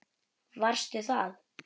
Varstu það?